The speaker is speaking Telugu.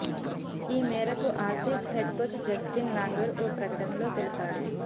ఈ మేరకు Aussies head coach Justin Langer ఓ ప్రకటనలో తెలిపాడు